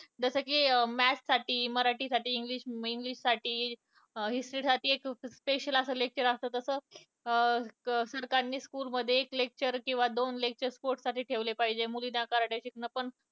जसं की maths साठी, मराठीसाठी, english साठी history साठी एक special असं lecture असतं तसं अं अं सरकारनं school मध्ये एक lecture किंवा दोन lecture ठेवले पाहिजे sport साठी ठेवले पाहिजे. मुलींना karate शिकणं पण